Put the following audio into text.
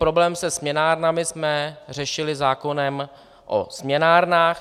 Problém se směnárnami jsme řešili zákonem o směnárnách.